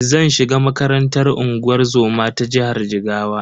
Zan shiga makarantar unguwar zoma ta jihar Jigawa.